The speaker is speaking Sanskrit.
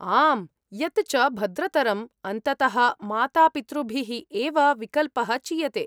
आम्, यत् च भद्रतरम्, अन्ततः मातापितृभिः एव विकल्पः चीयते।